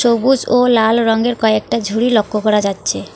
সবুজ ও লাল রঙের কয়েকটা ঝুড়ি লক্ষ্য করা যাচ্ছে।